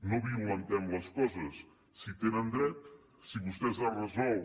no violentem les coses si hi tenen dret si vostès han resolt